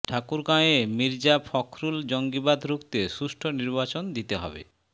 ঠাকুরগাঁওয়ে মির্জা ফখরুল জঙ্গিবাদ রুখতে সুষ্ঠু নির্বাচন দিতে হবে